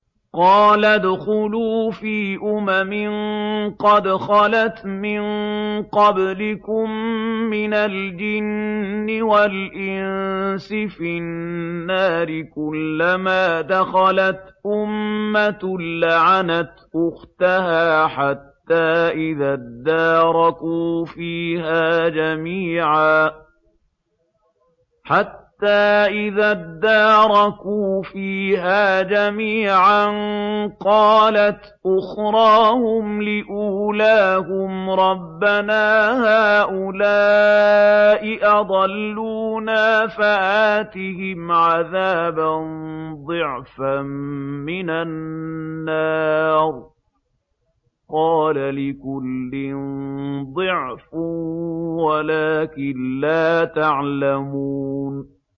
قَالَ ادْخُلُوا فِي أُمَمٍ قَدْ خَلَتْ مِن قَبْلِكُم مِّنَ الْجِنِّ وَالْإِنسِ فِي النَّارِ ۖ كُلَّمَا دَخَلَتْ أُمَّةٌ لَّعَنَتْ أُخْتَهَا ۖ حَتَّىٰ إِذَا ادَّارَكُوا فِيهَا جَمِيعًا قَالَتْ أُخْرَاهُمْ لِأُولَاهُمْ رَبَّنَا هَٰؤُلَاءِ أَضَلُّونَا فَآتِهِمْ عَذَابًا ضِعْفًا مِّنَ النَّارِ ۖ قَالَ لِكُلٍّ ضِعْفٌ وَلَٰكِن لَّا تَعْلَمُونَ